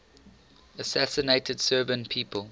assassinated serbian people